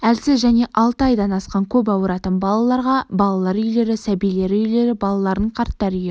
әлсіз және алты айдан асқан көп ауыратын балаларға балалар үйлері сәбилер үйлері балаларын қарттар үйі